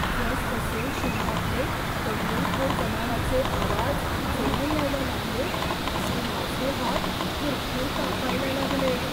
जसजसे शहरातले दंगलखोर जमावाचे आवाज जवळ यायला लागले तसे माझे हात थरथर कापायला लागले.